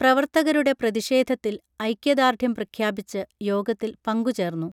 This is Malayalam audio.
പ്രവർത്തകരുടെ പ്രതിഷേധത്തിൽ ഐക്യദാർഢ്യം പ്രഖ്യാപിച്ച് യോഗത്തിൽ പങ്കു ചേർന്നു